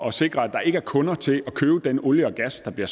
at sikre at der ikke er kunder til at købe den olie og gas der bliver